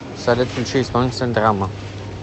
салют включи исполнителя драмма